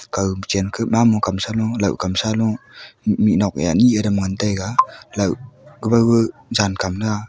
kaw kuchen keh mamo kam shalo lohkam shalo mihnoke anyi aram ngan taiga loah kawao jankam na aa.